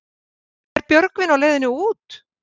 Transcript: En er Björgvin á leiðinni út?